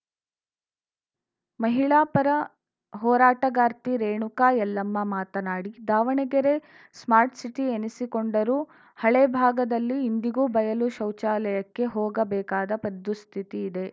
ಮಹಿಳಾ ಪರ ಹೋರಾಟಗಾರ್ತಿ ರೇಣುಕಾ ಯಲ್ಲಮ್ಮ ಮಾತನಾಡಿ ದಾವಣಗೆರೆ ಸ್ಮಾರ್ಟ್ ಸಿಟಿ ಎನಿಸಿಕೊಂಡರೂ ಹಳೆ ಭಾಗದಲ್ಲಿ ಇಂದಿಗೂ ಬಯಲು ಶೌಚಾಲಯಕ್ಕೆ ಹೋಗಬೇಕಾದ ಪದ್ ದುಸ್ಥಿತಿ ಇದೆ